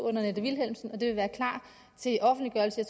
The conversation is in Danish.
annette vilhelmsen og det vil være klar til offentliggørelse i